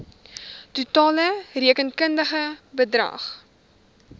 totale rekenkundige bedrag